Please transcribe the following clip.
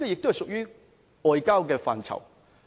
這亦屬於外交的範疇。